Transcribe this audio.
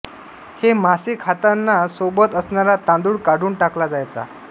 हे मासे खाताना सोबत असणारा तांदूळ काढून टाकला जायचा